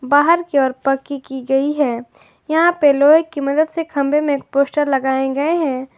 बाहर की ओर पक्की की गई है यहां पर लोहे की मदद से खंबे में पोस्टर लगाए गए हैं।